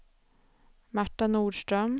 Marta Norström